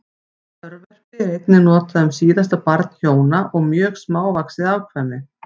Örverpi er einnig notað um síðasta barn hjóna og mjög smávaxið afkvæmi.